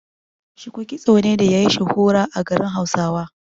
Shuku kitso ne da yayi shuhura a garin Hausawa.